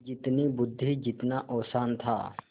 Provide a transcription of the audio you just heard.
जितनी बुद्वि जितना औसान था